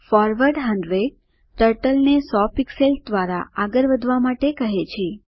forward 100 ટર્ટલને 100 pixels દ્વારા આગળ વધવા માટે કહે છે